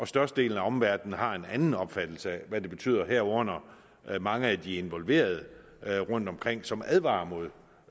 størstedelen af omverdenen har en anden opfattelse af hvad det betyder herunder mange af de involverede rundtomkring som advarer mod